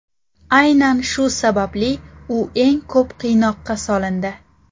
Aynan shu sababli u eng ko‘p qiynoqqa solindi.